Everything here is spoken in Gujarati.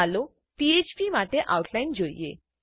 ચાલો ફ્ફ્પ માટે આઉટલાઈન જોઈએ